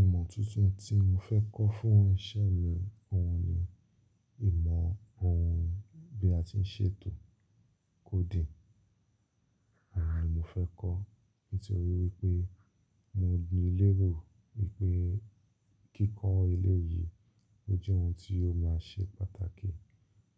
Ìmọ̀ tuntun tí mo fẹ́ kọ́ fún ìṣẹ̀ mi ohun ni ìmọ̀ ohun bí a tí ń ṣètò coding. Oun ni mo fẹ́ kọ́ nítorí wípé mo ní lérò wípé kíkọ́ elé yìí ó jẹ́ ohun tí ó máa ṣe pàtàkì